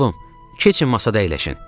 Oğlum, keçin masada əyləşin.